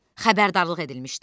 Xəbərdarlıq edilmişdi.